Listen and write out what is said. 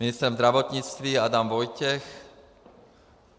Ministrem zdravotnictví Adam Vojtěch.